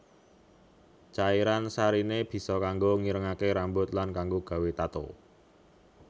Cairan sariné bisa kanggo ngirengaké rambut lan kanggo gawé tato